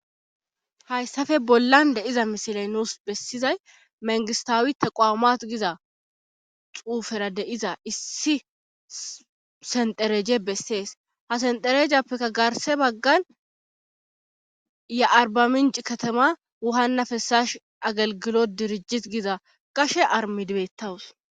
Hayssafe bollan de iza misilay nuus bessizay mengistawitta qoaamat giza xuufera deiza issi sendereje bessees ha senderejappekka garse baggan ya arbaminci katama wuhanna fessash agalgilo dirijjis giza qashe armidibettawus.